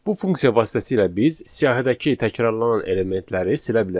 Bu funksiya vasitəsilə biz siyahıdakı təkrarlanan elementləri silə bilərik.